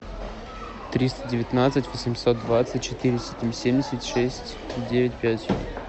триста девятнадцать восемьсот двадцать четыреста семьдесят шесть девять пять